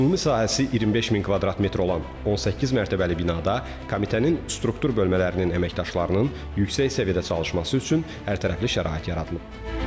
Ümumi sahəsi 25 min kvadrat metr olan 18 mərtəbəli binada Komitənin struktur bölmələrinin əməkdaşlarının yüksək səviyyədə çalışması üçün hərtərəfli şərait yaradılıb.